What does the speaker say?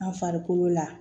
An farikolo la